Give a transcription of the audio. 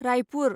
Raipur